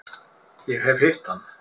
Ég hef hitt hann.